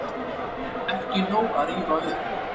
Ekki nóg að rífa upp